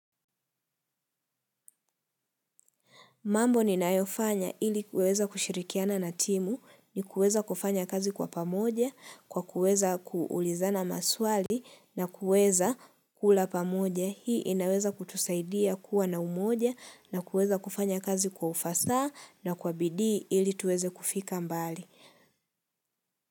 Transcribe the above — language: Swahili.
Mambo ni nayofanya ili kuweza kushirikiana na timu, ni kuweza kufanya kazi kwa pamoja, kwa kuweza kuulizana maswali, na kuweza kula pamoja. Hii inaweza kutusaidia kuwa na umoja, na kuweza kufanya kazi kwa ufasaha na kwa bidii ili tuweze kufika mbali.